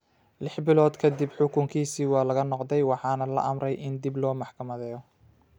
Lix bilood ka dib, xukunkiisii ​​waa laga noqday, waxaana la amray in dib loo maxkamadeeyo.